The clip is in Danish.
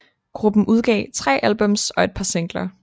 Gruppen udgav tre albums og et par singler